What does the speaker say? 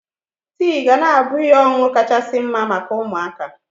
Tii ga na-abụ ihe ọṅụṅụ kachasị mma maka ụmụaka.